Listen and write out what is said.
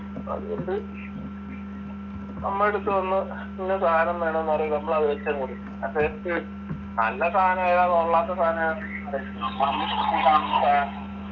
അതുകൊണ്ട് നമ്മുടെ അടുത്തുവന്ന് ഇന്ന സാധനം വേണമെന്ന് പറയുമ്പോൾ നമ്മൾ അതങ് വെച്ചുകൊടുക്കും നല്ല സാധനമേതാ കൊള്ളാത്ത സാധനമേതാ